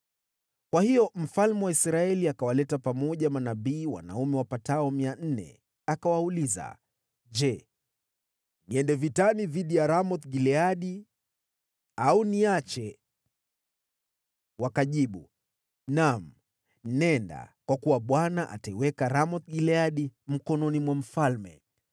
Kwa hiyo mfalme wa Israeli akawaleta pamoja manabii wanaume wapatao mia nne, akawauliza, “Je, niende vitani dhidi ya Ramoth-Gileadi, au niache?” Wakajibu, “Naam, nenda, kwa kuwa Bwana ataiweka Ramoth-Gileadi mkononi mwa mfalme.”